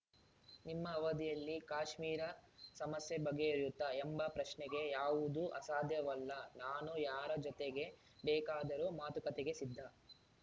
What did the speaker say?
ನಿಮ್ಮ ಅವಧಿಯಲ್ಲಿ ಕಾಶ್ಮೀರ ಸಮಸ್ಯೆ ಬಗೆಹರಿಯುತ್ತಾ ಎಂಬ ಪ್ರಶ್ನೆಗೆ ಯಾವುದೂ ಅಸಾಧ್ಯವಲ್ಲ ನಾನು ಯಾರ ಜೊತೆಗೆ ಬೇಕಾದರೂ ಮಾತುಕತೆಗೆ ಸಿದ್ಧ